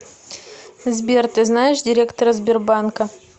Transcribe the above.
сбер ты знаешь директора сбербанка